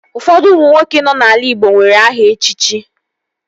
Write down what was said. Ụfọdụ ụmụ nwoke nọ n'ala igbo nwere aha echichi